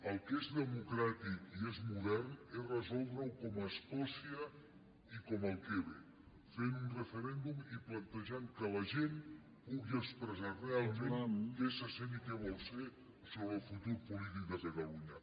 el que és democràtic i és modern és resoldre ho com a escòcia i com al quebec fent un referèndum i plantejant que la gent pugui expressar realment què se sent i què vol ser sobre el futur polític de catalunya